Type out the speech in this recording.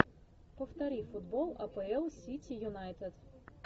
повтори футбол апл сити юнайтед